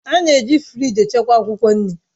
A na-eji firịj echekwa akwụkwọ nri